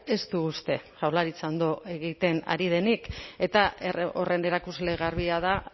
ez du uste jaurlaritza ondo egiten ari denik eta horren erakusle garbia da